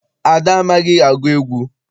Ada amaghị agụ egwu.